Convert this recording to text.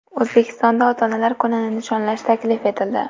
O‘zbekistonda ota-onalar kunini nishonlash taklif etildi .